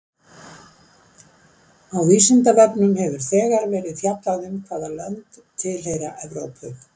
Á Vísindavefnum hefur þegar verið fjallað um hvaða lönd tilheyra Evrópu.